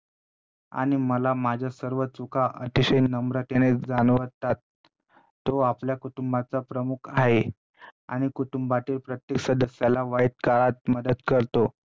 आणि मला माझ्या सर्व चुका अतिशय नम्रतेने जाणवतात तो आपल्या कुटुंबाचा प्रमुख आहे आणि कुटुंबातील प्रत्येक सदस्याला वाईट काळात मदत करतो.